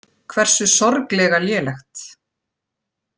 Hversu sorglega lélegt.